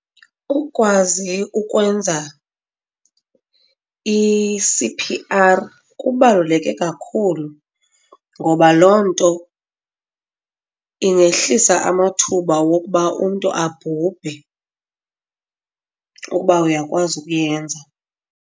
Ukwazi ukwenza i-C_P_R kubaluleke kakhulu ngoba loo nto ingehlisa amathuba wokuba umntu abhubhe ukuba uyakwazi ukuyenza.